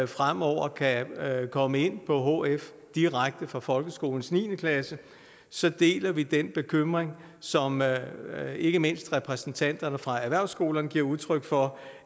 fremover kan komme ind på hf direkte fra folkeskolens niende klasse så deler vi den bekymring som ikke mindst repræsentanterne fra erhvervsskolerne giver udtryk for